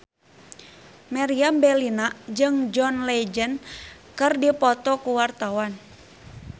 Meriam Bellina jeung John Legend keur dipoto ku wartawan